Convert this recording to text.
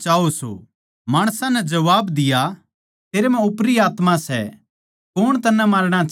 माणसां नै जबाब दिया तेरे म्ह ओपरी आत्मा सै कौण तन्नै मारणा चाहवै सै